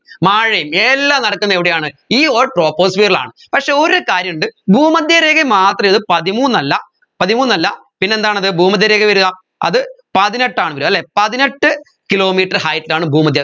മഴയും എല്ലാം നടക്കുന്നത് എവിടെയാണ് ഈ all troposphere ലാണ് പക്ഷെ ഒരു കാര്യമുണ്ട് ഭൂമദ്ധ്യരേഖയിൽ മാത്രം ഇത് പതിമൂന്നല്ല പതിമൂന്നല്ല പിന്നെന്താണ് അത് ഭൂമദ്ധ്യരേഖ വരുഅ അത് പതിനെട്ടാണ് വരാ അല്ലെ പതിനെട്ട് kilometre height ലാണ് ഭൂമദ്ധ്യ